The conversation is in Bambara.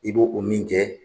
I b'o o min kɛ.